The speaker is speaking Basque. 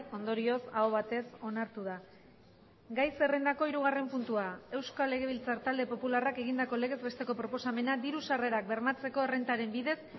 ondorioz aho batez onartu da gai zerrendako hirugarren puntua euskal legebiltzar talde popularrak egindako legez besteko proposamena diru sarrerak bermatzeko errentaren bidez